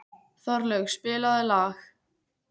Þorlaug, spilaðu lag.